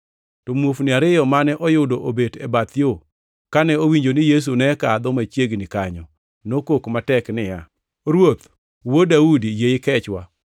To muofni ariyo mane oyudo obet e bath yo kane owinjo ni Yesu ne kadho machiegni kanyo, nokok matek niya, “Ruoth, Wuod Daudi, yie ikechwa!”